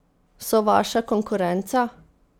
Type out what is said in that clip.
So vaša konkurenca?